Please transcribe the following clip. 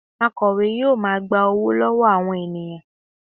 Akọ̀we yóò wá gba owó lọ́wọ́ àwọn ènìyàn